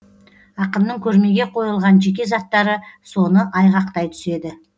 ақынның көрмеге қойылған жеке заттары соны айғақтай түседі